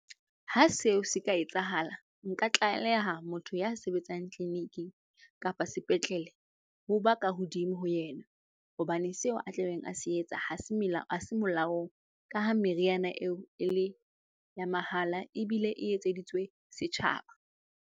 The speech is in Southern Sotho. Ha seo se ka etsahala, nka tlaleha motho ya sebetsang tleliniking kapa sepetlele ho ba ka hodimo ho yena. Hobane seo a tla beng a se etsa ha se ha se molaong. Ka ha meriana eo e le ya mahala ebile e etseditswe setjhaba.